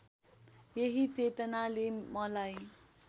यही चेतनाले मलाई